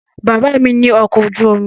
Bàbá mi ní ọkọ̀ ojú omi